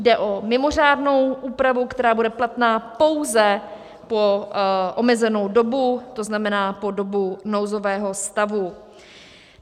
Jde o mimořádnou úpravu, která bude platná pouze po omezenou dobu, to znamená po dobu nouzového stavu.